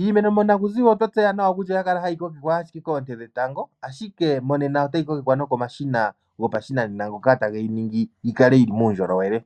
Iimeno monaku ziwa otwa tseya kutya oya kala hayi kokekwa ashike koonte dhetango ashike monena otayi kokekwa nokomashina yi kale yili muundjolowele.